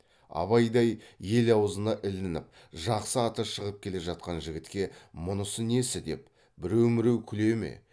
абайдай ел аузына ілініп жақсы аты шығып келе жатқан жігітке мұнысы несі деп біреу міреу күле ме